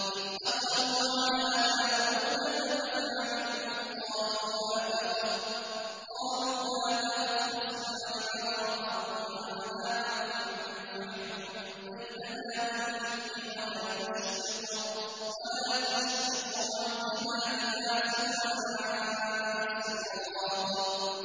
إِذْ دَخَلُوا عَلَىٰ دَاوُودَ فَفَزِعَ مِنْهُمْ ۖ قَالُوا لَا تَخَفْ ۖ خَصْمَانِ بَغَىٰ بَعْضُنَا عَلَىٰ بَعْضٍ فَاحْكُم بَيْنَنَا بِالْحَقِّ وَلَا تُشْطِطْ وَاهْدِنَا إِلَىٰ سَوَاءِ الصِّرَاطِ